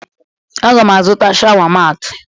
Aga m azụta shawa maatị